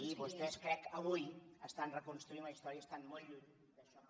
i vostès crec avui estan reconstruint la història i estan molt lluny d’això que